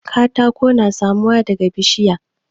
katako yana samuwa daga bishiya